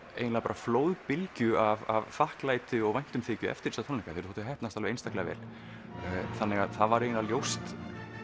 flóðbylgju af þakklæti og væntumþykju eftir þessa tónleika þeir þóttu heppnast alveg einstaklega vel það var ljóst